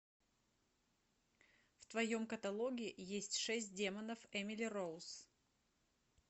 в твоем каталоге есть шесть демонов эмили роуз